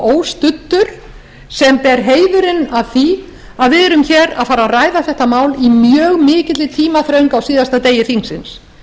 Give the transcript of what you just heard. óstuddur sem ber heiðurinn af því að við erum hér að fara að ræða þetta mál í mjög mikilli tímaþröng á síðasta degi þingsins